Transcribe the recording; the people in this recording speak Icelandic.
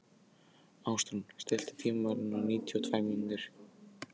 Ásrún, stilltu tímamælinn á níutíu og tvær mínútur.